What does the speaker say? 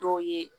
Dɔw ye